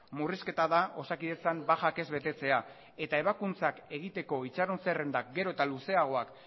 murrizketa da osakidetzan bajak ez betetzea eta ebakuntzak egiteko itxaron zerrendak geroz eta luzeagoak